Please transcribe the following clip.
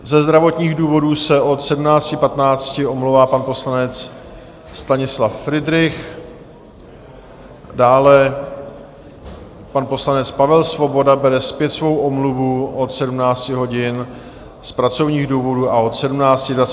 Ze zdravotních důvodů se od 17.15 omlouvá pan poslanec Stanislav Fridrich, dále pan poslanec Pavel Svoboda bere zpět svou omluvu od 17 hodin z pracovních důvodů a od 17.25 z pracovních důvodů.